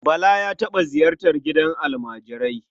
Bala ya taɓa ziyartar gidan almajirai.